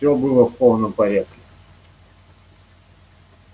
всё было в полном порядке